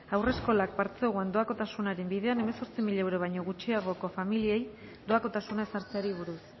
haurreskolak partzuergoan doakotasunaren bidean hemezortzi mila euro baino gutxiagoko familiei doakotasuna ezartzeari buruz